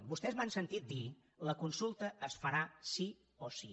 vostès m’han sentit dir la consulta es farà sí o sí